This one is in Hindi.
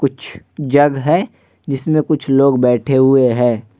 कुछ जग है जिसमें कुछ लोग बैठे हुए हैं ।